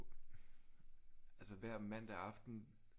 Altså hver mandag aften